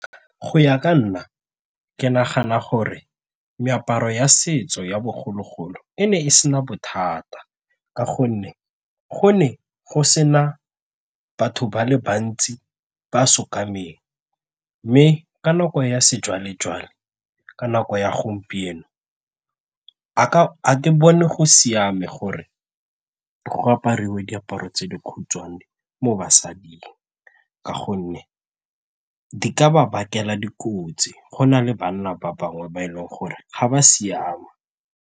Go ya ka nna, ke nagana gore meaparo ya setso ya bogologolo e ne e sena bothata ka gonne go ne go sena batho ba le bantsi ba mme ka nako ya sejwalejwale ka nako ya gompieno a ke bone go siame gore go aparwe diaparo tse dikhutshwane mo basading ka gonne di ka ba bakela dikotsi go na le bana ba bangwe ba e leng gore ga ba siama.